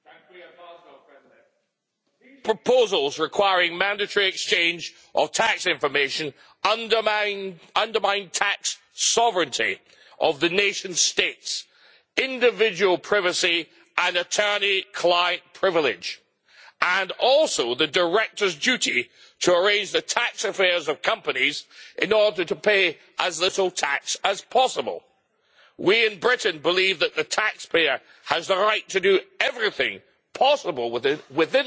Mr President, these proposals requiring mandatory exchange of tax information undermine tax sovereignty of the nation states, individual privacy and attorney client privilege, and also the directors' duty to arrange the tax affairs of companies in order to pay as little tax as possible. We in Britain believe that the taxpayer has the right to do everything possible within the law